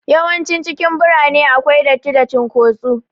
Yawancin cikin birane akwai datti da cin kotsu